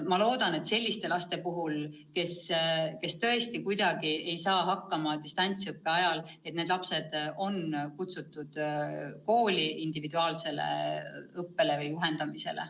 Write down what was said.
Ma loodan, et sellised lapsed, kes kohe kuidagi ei saa distantsõppega hakkama, on kutsutud kooli individuaalsele õppele või juhendamisele.